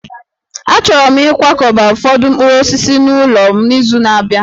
Achọrọ m ịkwakọba ụfọdụ mkpụrụ osisi n'ụlọ m n'izu na-abịa